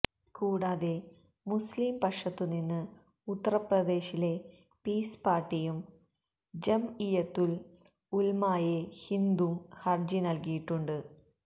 കൂടാതെ മുസ്ലിം പക്ഷത്തുനിന്ന് ഉത്തര്പ്രദേശിലെ പീസ് പാര്ട്ടിയും ജംഇയ്യത്തുല് ഉലമായെ ഹിന്ദും ഹരജി നല്കിയിട്ടുണ്ട്